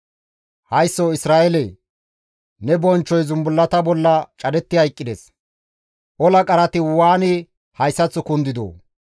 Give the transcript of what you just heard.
«Haysso Isra7eelee! Ne bonchchoy zumbullata bolla cadetti hayqqides; ola qarati waani hayssaththo kundidoo!